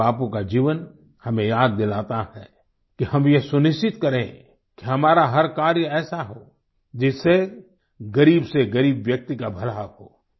पूज्य बापू का जीवन हमें याद दिलाता है कि हम ये सुनिश्चित करें कि हमारा हर कार्य ऐसा हो जिससे ग़रीब से ग़रीब व्यक्ति का भला हो